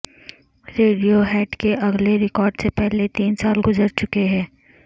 radio head کے اگلے record سے پہلے تین سال گزر چکے ہیں